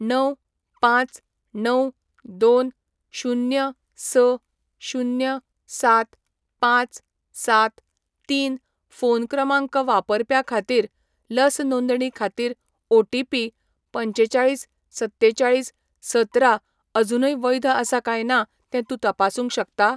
णव, पाच, णव ,दोन, शुन्य, स, शुन्य ,सात ,पाच, सात ,तीन ,फोन क्रमांक वापरप्या खातीर लस नोंदणी खातीर ओ.टि.पी. पंचेचाळीस सत्तेचाळीस सतरा अजूनय वैध आसा काय ना तें तूं तपासूंक शकता?